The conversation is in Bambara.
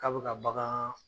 K'a bɛ ka bagaan